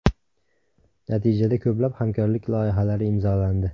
Natijada ko‘plab hamkorlik loyihalari imzolandi.